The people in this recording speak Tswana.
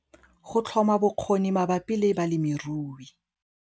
Go tlhoma bokgoni mabapi le balemirui